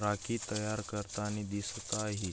राखी तयार करतानी दिसत आहे.